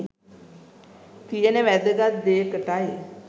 තියෙන වැදගත් දෙයකටයි.